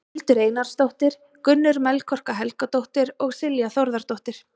Hildur Einarsdóttir, Gunnur Melkorka Helgadóttir og Silja Þórðardóttir.